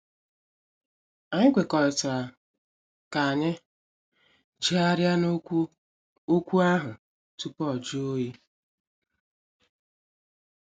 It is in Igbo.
Anyị kwekọrịtara ka anyị jegharia na okwu okwu ahụ tupu ọ jụọ oyi.